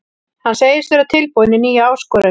Hann segist tilbúinn í nýja áskorun.